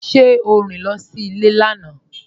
Ṣe o rín sí ilẹ̀ lánà?